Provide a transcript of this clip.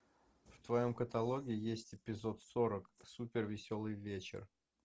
в твоем каталоге есть эпизод сорок супер веселый вечер